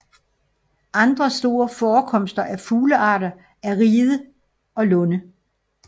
Andre store forekomster af fuglearter er ride og lunde